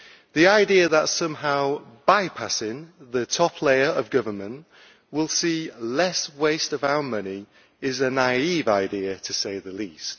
The idea that somehow bypassing the top layer of government will see less waste of our money is a naive idea, to say the least.